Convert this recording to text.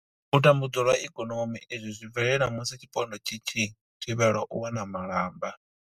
U tambudzwa lwa ikonomi, Izwi zwi bvelela musi tshipondwa tshi tshi thivhelwa u wana malamba.